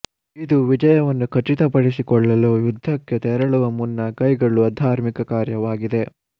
ಇದು ವಿಜಯವನ್ನು ಖಚಿತಪಡಿಸಿಕೊಳ್ಳಲು ಯುದ್ಧಕ್ಕೆ ತೆರಳುವ ಮುನ್ನ ಕೈಗೊಳ್ಳುವ ಧಾರ್ಮಿಕ ಕಾರ್ಯವಾಗಿದೆ